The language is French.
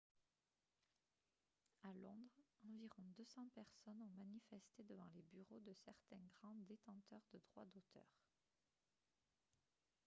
à londres environ 200 personnes ont manifesté devant les bureaux de certains grands détenteurs de droits d'auteur